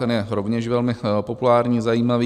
Ten je rovněž velmi populární, zajímavý.